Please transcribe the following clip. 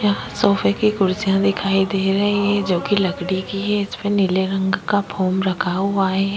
यहाँ सोफे की कुर्सियां दिखाई दे रही है जो की लकड़ी के है इसमें नीले रंग का फोम रखा हुआ है।